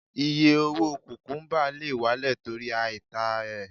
Iye owó kùkúbà lè wálẹ̀ torí àìtà rẹ̀.